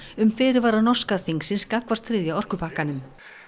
um fyrirvara norska þingsins gagnvart þriðja orkupakkanum